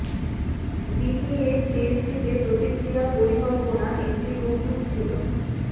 B P এর তেল ছিটে প্রতিক্রিয়া পরিকল্পনা একটি কৌতুক ছিল